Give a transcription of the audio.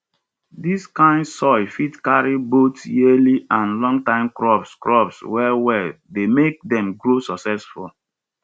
dis kain soil fit carry both yearly and longtime crops crops wellwell dey make dem grow successful